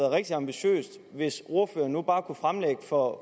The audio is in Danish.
rigtig ambitiøst hvis ordføreren nu kunne fremlægge for